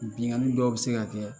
Bingani dɔw bɛ se ka kɛ